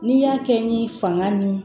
N'i y'a kɛ ni fanga ni